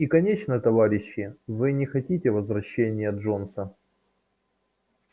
и конечно товарищи вы не хотите возвращения джонса